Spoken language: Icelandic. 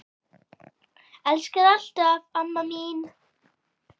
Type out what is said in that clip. Elska þig alltaf, amma mín.